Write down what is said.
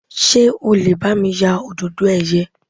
Ṣé o lè bá mi ya Òdòdó ẹ̀yẹ?